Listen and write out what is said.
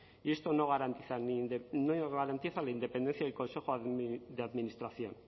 y esto no garantiza la independencia del consejo de administración